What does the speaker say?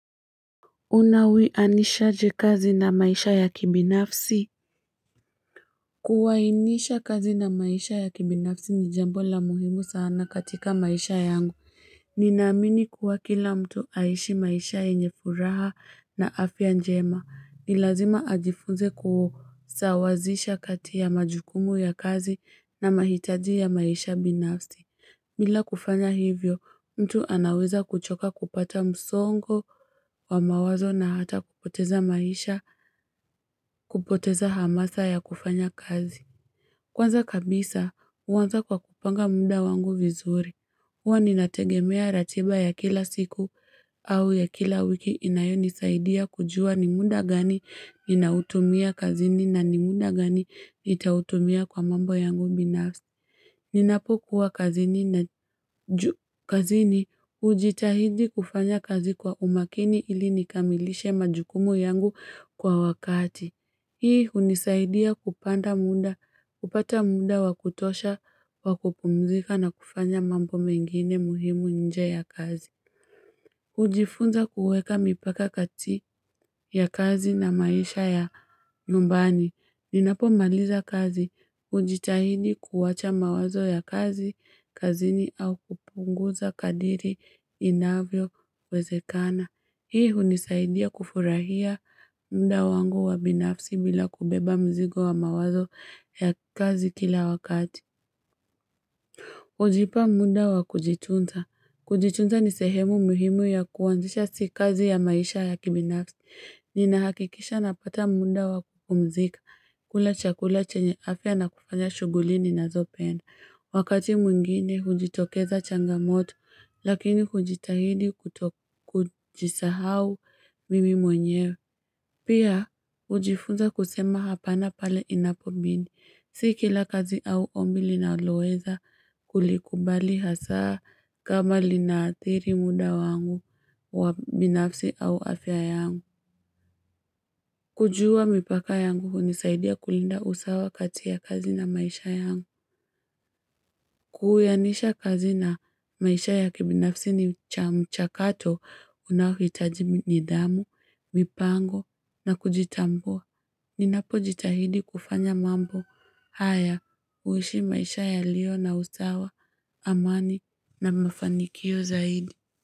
Una wianishaje kazi na maisha ya kibinafsi? Kuwainisha kazi na maisha ya kibinafsi ni jambo la muhimu sana katika maisha yangu. Ninaamini kuwa kila mtu aishi maisha yenye furaha na afya njema. Ni lazima ajifunze kusawazisha kati ya majukumu ya kazi na mahitaji ya maisha binafsi. Bila kufanya hivyo mtu anaweza kuchoka kupata msongo wa mawazo na hata kupoteza maisha kupoteza hamasa ya kufanya kazi. Kwanza kabisa uwanza kwa kupanga muda wangu vizuri. Huwa ninategemea ratiba ya kila siku au ya kila wiki inayonisaidia kujua ni muda gani ninautumia kazini na ni muda gani nitautumia kwa mambo yangu binafsi. Ninapokuwa kazini na ju kazini ujitahidi kufanya kazi kwa umakini ili nikamilishe majukumu yangu kwa wakati. Hii unisaidia kupanda muda kupata muda wakutosha wakupumzika na kufanya mambo mengine muhimu nje ya kazi. Ujifunza kuweka mipaka kati ya kazi na maisha ya nyumbani Ninapomaliza kazi ujitahidi kuwacha mawazo ya kazi kazini au kupunguza kadiri inavyowezekana. Hii hunisaidia kufurahia muda wangu wa binafsi bila kubeba mzigo wa mawazo ya kazi kila wakati. Ujipa muda wa kujitunza. Kujitunza ni sehemu muhimu ya kuwanzisha si kazi ya maisha ya kibinafsi. Ninahakikisha napata muda wakupumzika kula chakula chenye afya na kufanya shughuli ninazopenda. Wakati mwingine hujitokeza changamoto lakini hujitahidi kutokujisahau mimi mwenyewe. Pia ujifunza kusema hapana pale inapobidi. Si kila kazi au ombi linaloweza kulikubali hasaa kama linathiri muda wangu wa binafsi au afya yangu. Kujua mipaka yangu unisaidia kulinda usawa kati ya kazi na maisha yangu. Kuhuyanisha kazi na maisha ya kibinafsi ni cha mchakato unaohitaji nidhamu mipango na kujitambua. Ninapojitahidi kufanya mambo haya uishi maisha yalio na usawa amani na mafanikio zaidi.